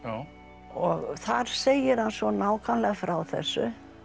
og þar segir hann svo nákvæmlega frá þessu